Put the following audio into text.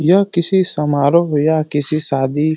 यह किसी समारोह व्ये या किसी सादी --